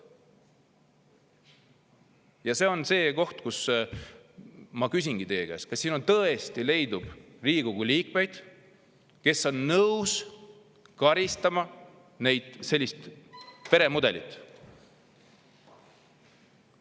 Ja see on see koht, kus ma küsingi teie käest, kas siin tõesti leidub Riigikogu liikmeid, kes on nõus karistama sellise peremudeli eest.